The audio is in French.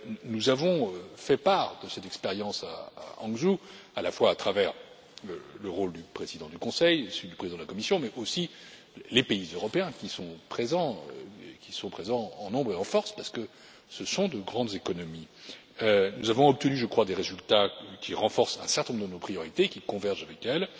Nous avons fait part de cette expérience à Hangzhou, à la fois à travers le rôle du président du Conseil, celui du président de la Commission, mais aussi des pays européens qui sont présents en nombre et en force, parce que ce sont de grandes économies. Nous avons obtenu, je crois, des résultats qui renforcent un certain nombre de nos priorités, qui convergent avec elles,